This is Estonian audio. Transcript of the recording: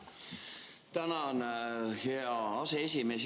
Tänan, hea aseesimees!